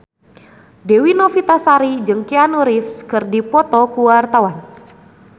Dewi Novitasari jeung Keanu Reeves keur dipoto ku wartawan